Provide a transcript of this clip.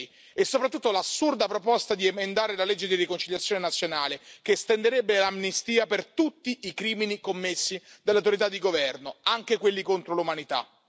2006. E soprattutto l'assurda proposta di emendare la legge di riconciliazione nazionale, che estenderebbe l'amnistia per tutti i crimini commessi dalle autorità di governo, anche quelli contro l'umanità.